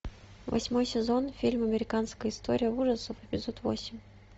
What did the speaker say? восьмой сезон фильм американская история ужасов эпизод восемь